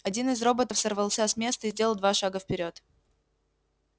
один из роботов сорвался с места и сделал два шага вперёд